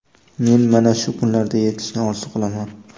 Men mana shu kunlarga yetishni orzu qilaman.